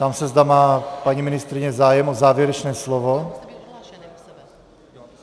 Ptám se, zda má paní ministryně zájem o závěrečné slovo.